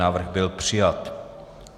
Návrh byl přijat.